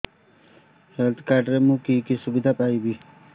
health card ରେ ମୁଁ କି କି ସୁବିଧା ପାଇବି